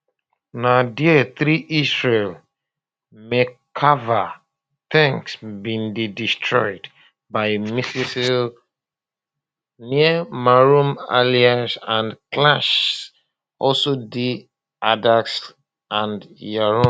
na dia three israeli merkava tanks bin dey destroyed by missiles near maroun alras and clashes also dey adalsseh and yaroun